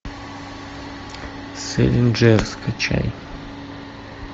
сэлинджер скачай